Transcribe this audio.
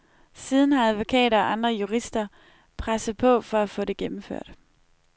Siden har advokater og andre jurister presset på for at få det gennemført.